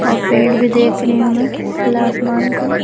और पेड़ भी देख रही हूं मैं खुला आसमान को--